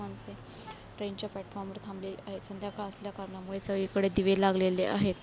माणसे ट्रेन च्या प्लॅटफॉर्म वर थांबले आहेत संध्याकाळ असल्या करना मुले सगळी कडे दिवे लागलेले आहेत.